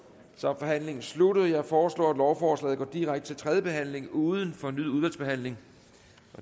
så er forhandlingen sluttet jeg foreslår at lovforslaget går direkte til tredje behandling uden fornyet udvalgsbehandling